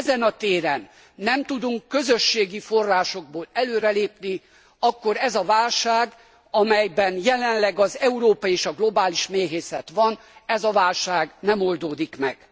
Ha ezen a téren nem tudunk közösségi forrásokból előre lépni, akkor ez a válság, amelyben jelenleg az európai és a globális méhészet van, ez a válság nem oldódik meg.